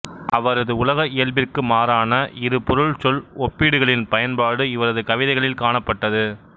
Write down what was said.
அவரது உலக இயல்பிற்கு மாறான இரு பொருள் சொல் ஒப்பீடுகளின் பயன்பாடு இவரது கவிதைகளில் காணப்பட்டது